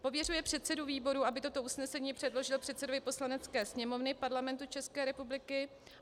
Pověřuje předsedu výboru, aby toto usnesení předložil předsedovi Poslanecké sněmovny Parlamentu České republiky.